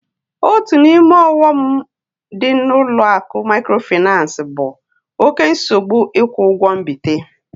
Otu n'ime ọghọm dị na ụlọ akụ mikrofinansi bụ oké nsogbu ikwu ụgwọ mbite